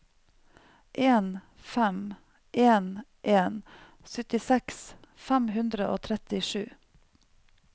en fem en en syttiseks fem hundre og trettisju